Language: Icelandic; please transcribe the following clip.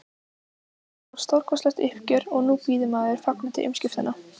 Það var stórkostlegt uppgjör og nú bíður maður fagnandi umskiptanna.